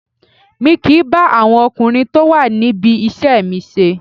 Mi kìí bá àwọn ọkùnrin tó wà níbi iṣẹ́ mi ṣe